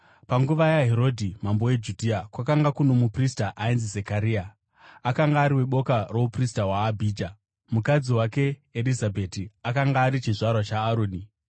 Panguva yaHerodhi mambo weJudhea kwakanga kuno muprista ainzi Zekaria, akanga ari weboka rouprista hwaAbhija; mukadzi wake Erizabheti akanga ari chizvarwa chaAroni.